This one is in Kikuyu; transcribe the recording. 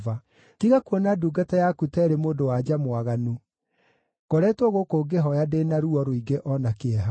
Tiga kuona ndungata yaku ta ĩrĩ mũndũ-wa-nja mwaganu; ngoretwo gũkũ ngĩhooya ndĩ na ruo rũingĩ o na kĩeha.”